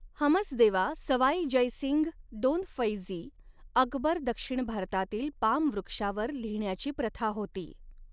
हमसदेवा सवाई जयसिंग दोन फैझी अकबर दक्षिण भारतातील पाम वृक्षावर लिहण्याची प्रथा होती.